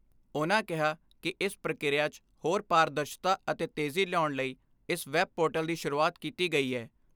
ਉਨ੍ਹਾਂ ਕਿਹਾ ਕਿ ਇਸ ਪ੍ਰਕਿਰਿਆ 'ਚ ਹੋਰ ਪਾਰਦਰਸ਼ਤਾ ਅਤੇ ਤੇਜੀ ਲਿਆਉਣ ਲਈ ਇਸ ਵੈਬ ਪੋਰਟਲ ਦੀ ਸ਼ੁਰੂਆਤ ਕੀਤੀ ਗਈ ਐ।